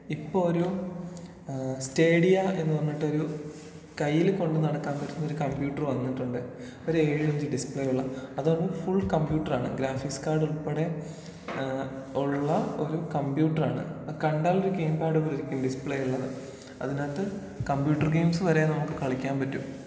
ഇപ്പൊ ഒരു ഏഹ് സ്റ്റേഡിയാ എന്ന് പറഞ്ഞിട്ടൊരു കയ്യില് കൊണ്ട് നടക്കാൻ പറ്റുന്ന ഒരു കമ്പ്യൂട്ടറ് വന്നിട്ടുണ്ട്. ഒരേഴിഞ്ച് ഡിസ്പ്ലേ ഉള്ള. അത് ഫുൾ കമ്പ്യൂട്ടറാണ് ഗ്രാഫിക്സ് കാർഡ് ഉൾപ്പെടെ ഏഹ് ഉള്ള ഒരു കമ്പ്യൂട്ടറാണ്.കണ്ടാലൊരു ഗെയിം പാട് പോലെ ഇരിക്കും ഡിസ്പ്ലേ എല്ലാം. അതിനകത്ത് കമ്പ്യൂട്ടർ ഗെയിംസ് വരേ നമുക്ക് കളിക്കാൻ പറ്റും.